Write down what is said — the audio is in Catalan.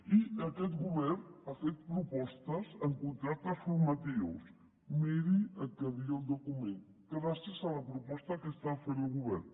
i aquest govern ha fet propostes en contractes formatius miri el que deia el document gràcies a la proposta que està fent el govern